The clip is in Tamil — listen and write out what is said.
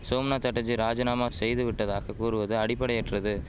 சோம்நாத் சாட்டர்ஜி ராஜினாமா செய்து விட்டதாக கூறுவது அடிப்படையற்றது